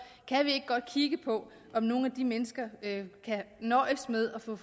kan vi ikke godt kigge på om nogle af de mennesker kan nøjes med at få